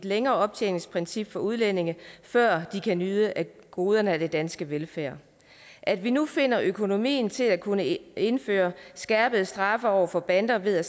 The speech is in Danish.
længere optjeningsprincip for udlændinge før de kan nyde goderne af den danske velfærd at vi nu finder økonomien til at kunne indføre skærpede straffe over for bander ved